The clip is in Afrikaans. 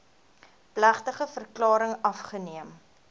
plegtige verklaring afgeneem